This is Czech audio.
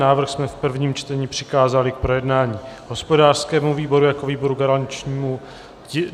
Návrh jsme v prvním čtení přikázali k projednání hospodářskému výboru jako výboru garančnímu.